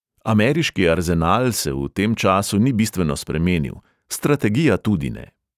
Ameriški arzenal se v tem času ni bistveno spremenil, strategija tudi ne.